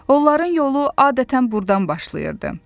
Onların yolu adətən burdan başlayırdı.